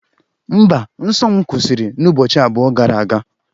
Mba, nsọ m kwụsịrị n'ụbọchị abụọ gara aga